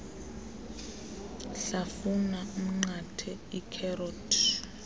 hlafuna umnqathe ikherothi